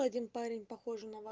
один парень похож на него